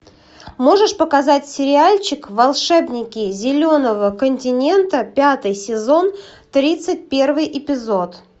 можешь показать сериальчик волшебники зеленого континента пятый сезон тридцать первый эпизод